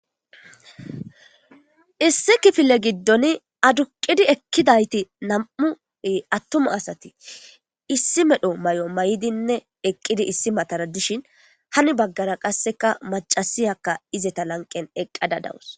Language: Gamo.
Issi kifile giddon aduqidi eqqidayti nam7u attuma asati issi medho may7o may7dinne eqqidi issi matara dishin hani baggara qasseka macasiyakka izeta lanqqen eqqada dawus.